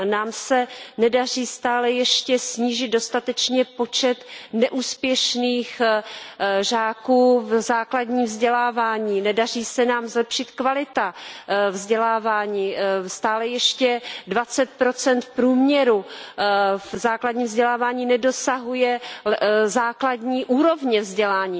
Nám se nedaří stále ještě snížit dostatečně počet neúspěšných žáků v základním vzdělávání, nedaří se nám zlepšit kvalita vzdělávání, stále ještě v průměru 20 žáků v základním vzdělávání nedosahuje základní úrovně vzdělání.